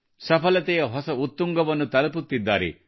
ಸಫಲತೆಯ ಹೊಸ ಉತ್ತುಂಗವನ್ನು ತಲುಪುತ್ತಿದ್ದಾರೆ